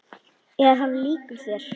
Mikil gleði og líka sorgir.